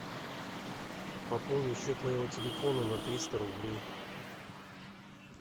пополнить счет моего телефона на триста рублей